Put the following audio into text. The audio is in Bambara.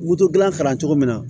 gilan kalan cogo min na